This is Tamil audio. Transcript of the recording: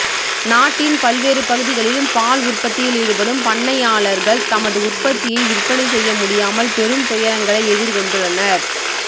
நாட்டின் பல்வேறு பகுதிகளிலும் பால் உற்பத்தியில் ஈடுபடும் பண்ணையாளர்கள் தமது உற்பத்தியை விற்பனை செய்ய முடியாமல் பெரும் துயரங்களை எதிர்கொண்டுள்ளனர்